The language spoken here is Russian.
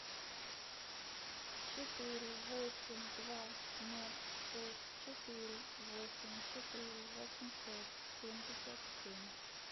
четыре восемь два ноль шесть четыре восемь четыре восемьсот семьдесят семь